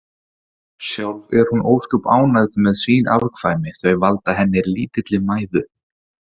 Sjálf er hún ósköp ánægð með sín afkvæmi, þau valda henni lítilli mæðu.